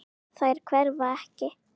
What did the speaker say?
Þær hverfa ekki.